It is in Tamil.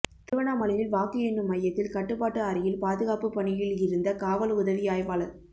திருவண்ணாமலையில் வாக்கு எண்ணும் மையத்தில் கட்டுப்பாட்டு அறையில் பாதுகாப்பு பணியில் இருந்த காவல் உதவி ஆய்வாளர்